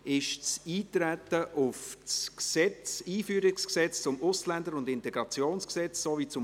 Ist das Eintreten auf das EG AIG und AsylG bestritten?